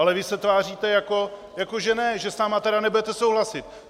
Ale vy se tváříte, jako že ne, že s námi tedy nebudete souhlasit.